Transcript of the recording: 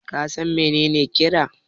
ka san menene kira?